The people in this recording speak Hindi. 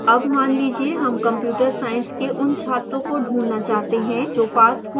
अब मान लीजिए हम computer science के उन छात्रों को ढूंढना चाहते हैं जो passed हो गए हैं